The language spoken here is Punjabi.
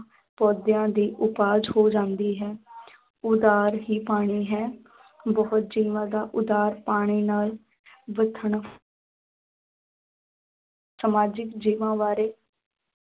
ਪੌਦਿਆਂ ਦੀ ਉਪਜ ਹੋ ਜਾਂਦੀ ਹੈ ਆਧਾਰ ਹੀ ਪਾਣੀ ਹੈ ਬਹੁਤ ਜੀਵਾਂ ਦਾ ਉਧਾਰ ਪਾਣੀ ਨਾਲ ਸਮਾਜਿਕ ਜੀਵਾਂ ਬਾਰੇ